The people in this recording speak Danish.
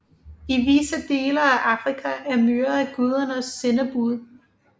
I visse dele af Afrika er myrer gudernes sendebud